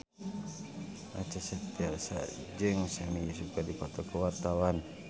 Acha Septriasa jeung Sami Yusuf keur dipoto ku wartawan